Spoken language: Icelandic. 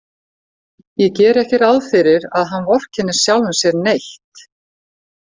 Ég geri ekki ráð fyrir að hann vorkenni sjálfum sér neitt.